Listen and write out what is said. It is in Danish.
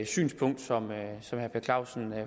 synspunkt som herre per clausen